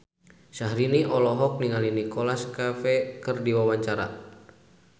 Syahrini olohok ningali Nicholas Cafe keur diwawancara